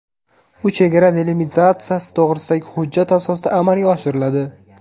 U chegara delimitatsiyasi to‘g‘risidagi hujjat asosida amalga oshiriladi.